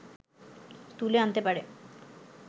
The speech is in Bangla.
তুলে আনতে পারে